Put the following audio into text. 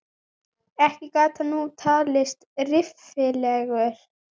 Ekki gat hann nú talist reffilegur.